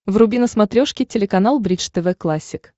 вруби на смотрешке телеканал бридж тв классик